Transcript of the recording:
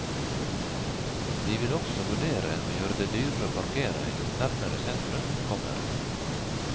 De vil også vurdere å gjøre det dyrere å parkere jo nærmere sentrum man kommer.